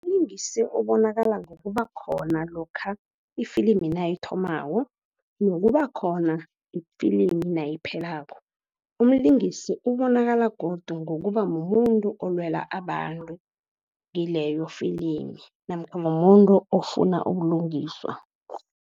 Mlingisi obonakala ngokubakhona lokha ifilimi nayithomako, nokubakhona ifilimi nayiphelako. Umlingisi ubonakala godu ngokuba mumuntu olwela abantu kileyo filimi, namkha mumuntu ofuna ubulungiswa.